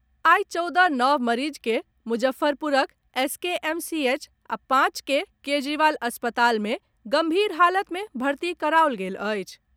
आइ चौदह नव मरीज के मुजफ्फरपुरक एसकेएमसीएच आ पांच के केजरीवाल अस्पताल मे गंभीर हालत मे भर्ती कराओल गेल अछि।